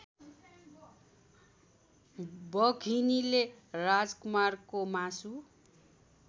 बघिनीले राजकुमारको मासु